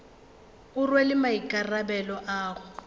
e rwele maikarabelo a go